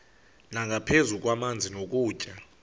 nangaphezu kwamanzi nokutya